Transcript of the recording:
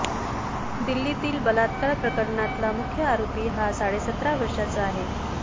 दिल्लीतील बलात्कार प्रकरणातला मुख्य आरोपी हा साडेसतरा वर्षाचा आहे